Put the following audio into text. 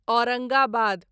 Aurangabad